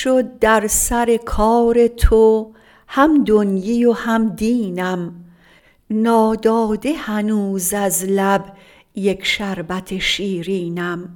شد در سر کار تو هم دنیی و هم دینم ناداده هنوز از لب یک شربت شیرینم